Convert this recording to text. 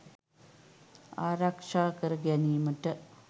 ආරක්ෂා කර ගැනීමට